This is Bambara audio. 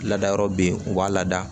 Ladayɔrɔ be yen u b'a lada